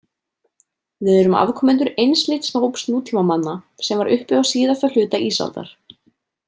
Við erum afkomendur einsleits hóps nútímamanna sem var uppi á síðasta hluta ísaldar.